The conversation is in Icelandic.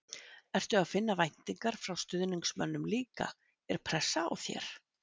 Ertu að finna væntingar frá stuðningsmönnum líka, er pressa á þér?